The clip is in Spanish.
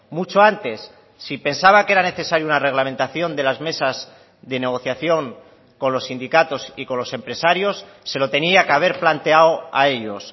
mucho antes si pensaba que era necesario una reglamentación de las mesas de negociación con los sindicatos y con los empresarios se lo tenía que haber planteado a ellos